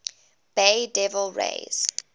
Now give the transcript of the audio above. bay devil rays